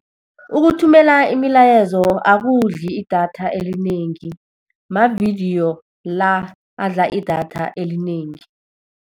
Ukuthumela imilayezo akudli idatha elinengi, mavidiyo la adla idatha elinengi.